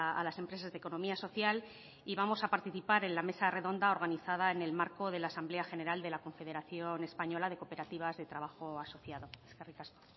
a las empresas de economía social y vamos a participar en la mesa redonda organizada en el marco de la asamblea general de la confederación española de cooperativas de trabajo asociado eskerrik asko